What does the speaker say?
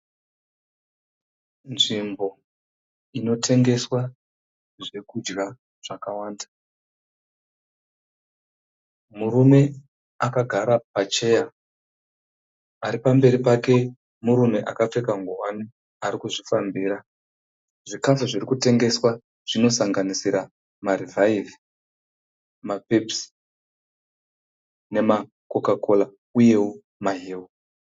Nzvimbo inotengeswa zvekudya zvakawanda. Murume akagara pacheya. Aripamberi pake murume akapfeka ngowani arikuzvifambira. Zvikafu zvirikutengeswa zvinosanganisira maRevive, maPepsi nemaCoca Cola uyewo maheu.